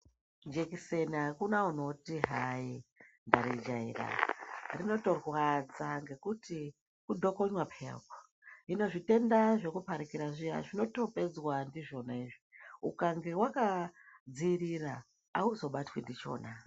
Jekiseni hakuna unoti hayi ndaijaira inotorwadza ngekuti kutokonywa peya hino zvitenda zvekuparikira zvinotopedzwa ndizvona izvi ukange wakadziirira awuzobatwi ndichona.